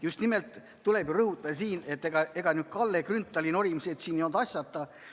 Just nimelt, tuleb rõhutada, et ega Kalle Grünthali norimised siin ei olnud asjata.